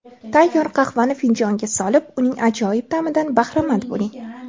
Tayyor qahvani finjonga solib, uning ajoyib ta’midan bahramand bo‘ling!